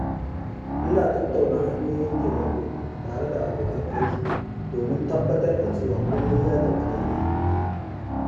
Ina tattauna hanyoyin taimako tare da abokan aiki domin tabbatar da cewa komai ya tafi daidai.